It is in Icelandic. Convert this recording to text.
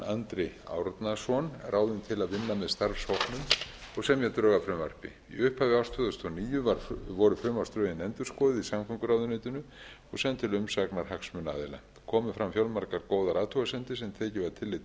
andri árnason ráðinn til að vinna með starfshópnum og semja drög að frumvarpi í upphafi árs tvö þúsund og níu voru frumvarpsdrögin endurskoðuð í samgönguráðuneytinu og send til umsagnar hagsmunaaðila komu fram fjölmargar góðar athugasemdir sem tekið var tillit